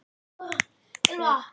Gísli: En hvað segirðu með rafmagnið?